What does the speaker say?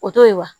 O to ye wa